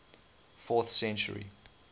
fourth century